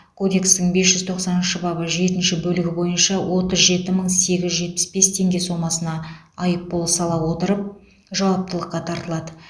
кодекстің бес жүз тоқсаныншы бабы жетінші бөлігі бойынша отыз жеті мың сегіз жүз жетпіс бес теңге сомасына айыппұл сала отырып жауаптылыққа тартылады